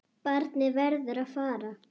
Barnið verður að fara.